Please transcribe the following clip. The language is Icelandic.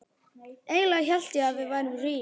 Eiginlega hélt ég að við værum rík.